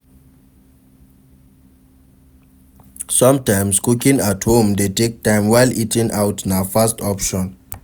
Sometimes cooking at home de take time while eating out na fast option